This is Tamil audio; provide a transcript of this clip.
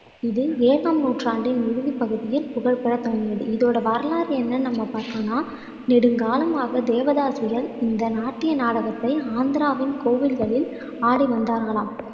இது ஏழாம் நூற்றாண்டின் இறுதிப்பகுதியில் புகழ்பெறத்தொடங்கியது இதோட வரலாறு என்னன்னு நம்ம பார்த்தோம்னா நெடுங்காலமாக தேவதாசிகள் இந்த நாட்டிய நாடகத்தை ஆந்திராவின் கோவில்களில் ஆடிவந்தார்களாம்